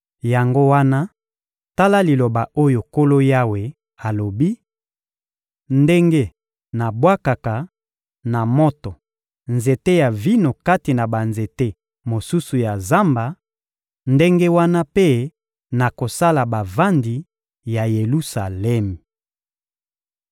Yango wana, tala liloba oyo Nkolo Yawe alobi: Ndenge nabwakaka na moto nzete ya vino kati na banzete mosusu ya zamba, ndenge wana mpe nakosala bavandi ya Yelusalemi.